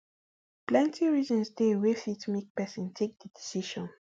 plenti reasons dey wey fit make pesin take di decision